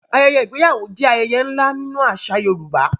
Ayẹyẹ ìgbéyàwó jẹ́ ayẹyẹ ńlá nínú àṣà Yorùbá.